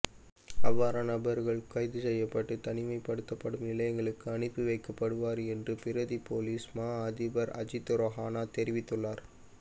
அவ்வாறான நபர்கள் கைதுசெய்யப்பட்டு தனிமைப்படுத்தப்படும் நிலையங்களுக்கு அனுப்பி வைக்கப்படுவர்கள் என்று பிரதி பொலிஸ் மா அதிபர் அஜித் ரோஹண தெரிவித்துள்ளார்